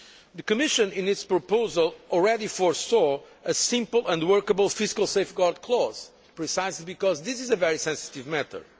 The Commission, in its proposal, had foreseen a simple and workable fiscal safeguard clause, precisely because this is a very sensitive matter.